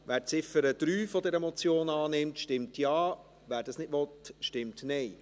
Wer die Ziffer 3 dieser Motion annimmt, stimmt Ja, wer dies ablehnt, stimmt Nein.